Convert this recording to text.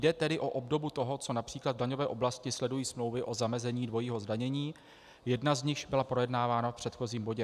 Jde tedy o obdobu toho, co například v daňové oblasti sledují smlouvy o zamezení dvojího zdanění, jedna z nichž byla projednávána v předchozím bodě.